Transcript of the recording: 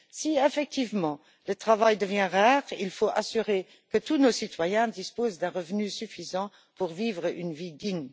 Si, effectivement, le travail devient rare, il faut s'assurer que tous nos citoyens disposent d'un revenu suffisant pour vivre une vie digne.